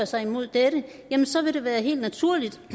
sig mod dette så vil det være helt naturligt og